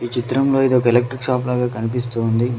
ఈ చిత్రంలో ఇదొక్ ఎలక్ట్రిక్ షాప్ లాగా కనిపిస్తూ ఉంది.